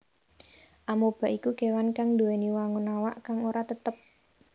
Amoeba iku kéwan kang nduwèni wangun awak kang ora tetep